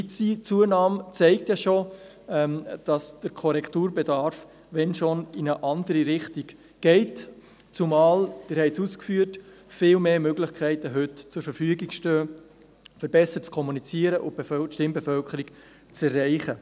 Diese Zunahme zeigt bereits, dass der Korrekturbedarf, wenn schon, in eine andere Richtung geht, zumal – Sie haben es ausgeführt – heute viel mehr Möglichkeiten zur Verfügung stehen, um besser zu kommunizieren und die Stimmbevölkerung zu erreichen.